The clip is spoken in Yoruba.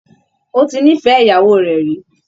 Ó ti nífẹ̀ẹ́ ìyàwó rẹ̀ rí